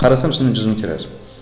қарасам шынымен жүз мың тираж